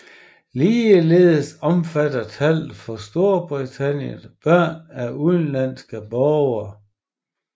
Ligeledes omfatter tallet for Storbritannien børn af udenlandske borgere